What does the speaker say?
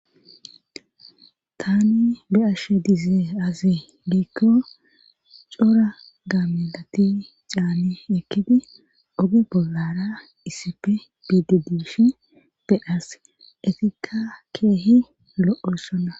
Tani be'ashe dize azi giikko cora gaamilati caani ekkidi oge bollara issife biide diishi be as etikka keehi lo'o sona.